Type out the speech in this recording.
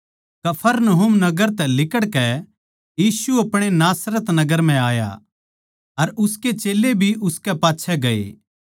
कफरनहूम नगर तै लिकड़कै यीशु आपणे नासरत नगर म्ह आया अर उसके चेल्लें भी उसकै पाच्छै गए